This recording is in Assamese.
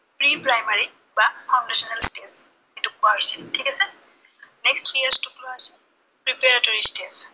pre-primary বা foundational base যিটোক কোৱা হৈছে, ঠিক আছে? next three years টোক কোৱা হৈছে preparatory